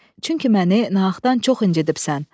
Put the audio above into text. Çünki məni nağdan çox incidibsən.